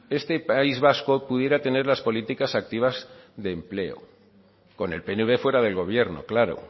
este país vasco pudiera tener las políticas activas de empleo con el pnv fuera del gobierno claro